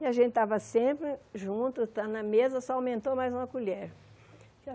E a gente estava sempre junto, então na mesa só aumentou mais uma colher.